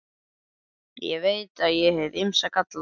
Ég veit að ég hef ýmsa galla.